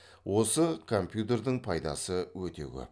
осы компьютердің пайдасы өте көп